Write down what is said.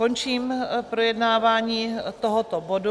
Končím projednávání tohoto bodu.